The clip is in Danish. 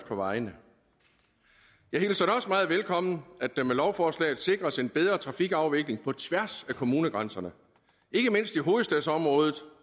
på vejene jeg hilser det også meget velkommen at der med lovforslaget sikres en bedre trafikafvikling på tværs af kommunegrænserne ikke mindst i hovedstadsområdet